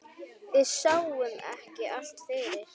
Við sáum ekki allt fyrir.